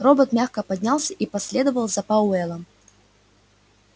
робот мягко поднялся и последовал за пауэллом